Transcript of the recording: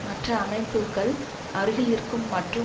மற்ற அமைப்புக்கள் அருகில் இருக்கும் மற்றும்